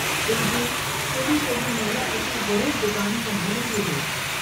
तेजी केड़ी केडी महिल अची ज़रूर दुकान संभालींदी हुई।